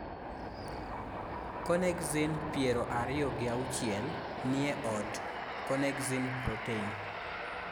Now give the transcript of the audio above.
connexin 26 niye od connexin protein